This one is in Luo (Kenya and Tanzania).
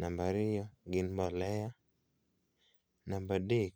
namba ariyo gin mbolea, namba adek,